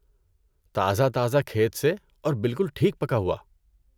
تازہ تازہ کھیت سے اور بالکل ٹھیک پکا ہوا۔